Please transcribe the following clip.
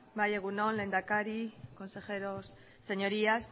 bai egun on lehendakari consejeros señorías